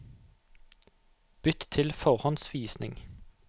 Bytt til forhåndsvisning